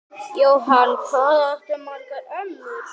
Jóhann: Hvað áttu margar ömmur?